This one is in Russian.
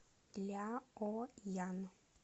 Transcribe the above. ляоян